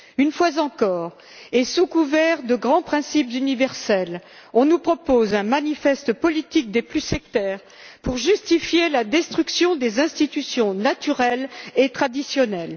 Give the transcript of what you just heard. Une fois encore, et sous couvert de grands principes universels, on nous propose un manifeste politique des plus sectaires pour justifier la destruction des institutions naturelles et traditionnelles.